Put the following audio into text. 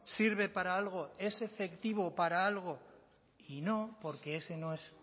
sirve para algo es efectivo para algo y no porque ese no es